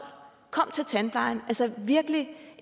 kom til tandplejen altså virkelig